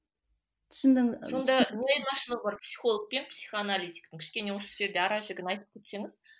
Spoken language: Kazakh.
сонда не айырмашылығы бар психолог пен психоаналитиктің кішкене осы жерде ара жігін айтып кетсеңіз